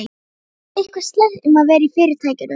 Það er eitthvað slæmt um að vera í Fyrirtækinu.